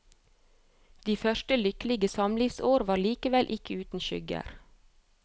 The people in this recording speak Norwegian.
De første lykkelige samlivsår var likevel ikke uten skygger.